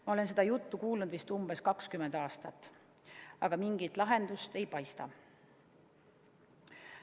Ma olen seda juttu kuulnud vist umbes 20 aastat, aga mingit lahendust ei paista.